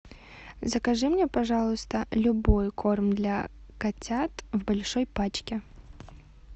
закажи мне пожалуйста любой корм для котят в большой пачке